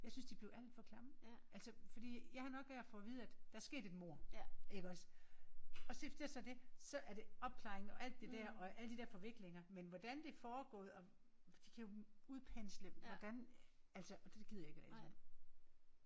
Jeg synes de blev alt for klamme. Altså fordi jeg har nok med at få at vide der er sket et mord iggås. Og så det så det så er det alt det der opklaring alt det der og alle de der forviklinger men hvordan det er foregået og de kan jo udpensle og hvordan altså og det gider jeg ikke læse om